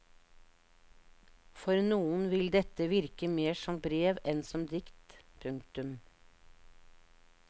For noen vil dette virke mer som brev enn som dikt. punktum